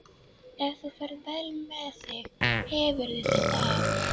Ef þú ferð vel með þig hefurðu þetta af.